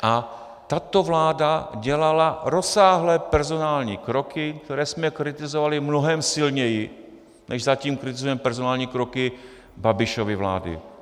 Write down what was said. A tato vláda dělala rozsáhlé personální kroky, které jsme kritizovali mnohem silněji, než zatím kritizujeme personální kroky Babišovy vlády.